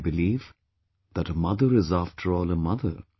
I believe that a mother is afterall a mother